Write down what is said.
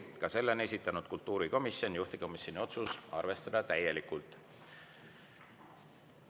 Ka selle on esitanud kultuurikomisjon, juhtivkomisjoni otsus on arvestada täielikult.